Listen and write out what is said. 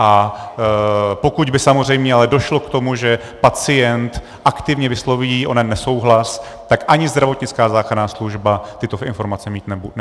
A pokud by samozřejmě ale došlo k tomu, že pacient aktivně vysloví onen nesouhlas, tak ani zdravotnická záchranná služba tyto informace mít nebude.